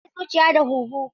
Kirji yana kare zuciya da huhu.